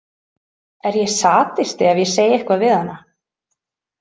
Er ég sadisti ef ég segi eitthvað við hana?